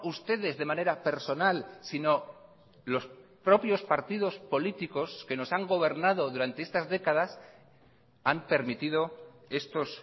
ustedes de manera personal sino los propios partidos políticos que nos han gobernado durante estas décadas han permitido estos